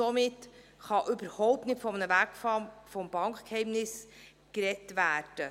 Somit kann überhaupt nicht von einem Wegfall des Bankgeheimnisses gesprochen werden.